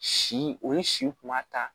Si o ye si kuma ta